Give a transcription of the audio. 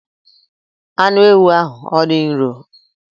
Anụ ewu ahụ ọ dị nro?